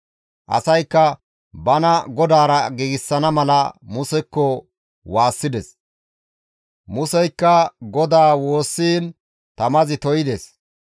Asaykka bana GODAARA giigsana mala Musekko waassides; Museykka GODAA woossiin tamazi to7ides.